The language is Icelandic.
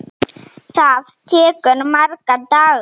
Það tekur marga daga!